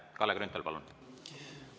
Kalle Grünthal, palun!